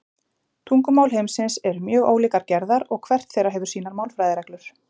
Tungumál heimsins eru mjög ólíkrar gerðar og hvert þeirra hefur sínar málfræðireglur.